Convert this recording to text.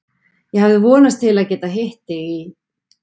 Ég hafði vonast til að geta hitt þig í